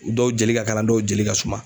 Dɔw jeli ka kalan dɔw jeli ka suma.